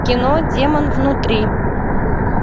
кино демон внутри